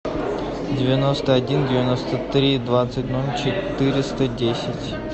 девяносто один девяносто три двадцать ноль четыреста десять